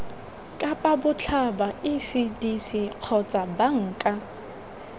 kapa botlhaba ecdc kgotsa banka